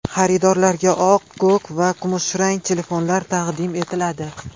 Xaridorlarga oq, ko‘k, qizil va kumushrang telefonlar taqdim etiladi.